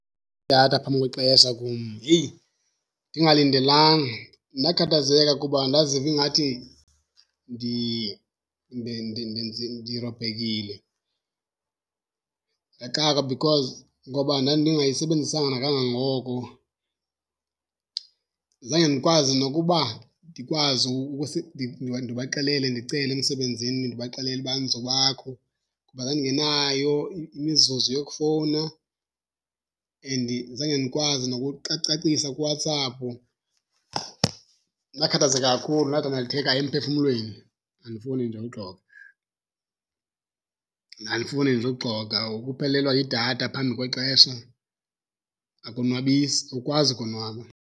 Idatha phambi kwexesha kum, heyi, ndingalindelanga. Ndakhathazeka kuba ndaziva ingathi ndirobhekile. Ndaxakwa because ngoba ndandingayisebenzisanga nakangangoko. Zange ndikwazi nokuba ndikwazi ndibaxelele ndicele emsebenzini ndibaxelele uba andizubakho ngoba ndandingenayo imizuzu yokufowuna and zange ndikwazi cacisa kuWhatsApp. Ndakhathazeka kakhulu, ndadandatheka emphefumlweni, andifuni nje uxoka. Andifuni nje uxoka, ukuphelelwa yidatha phambi kwexesha akonwabisi, awukwazi ukonwaba.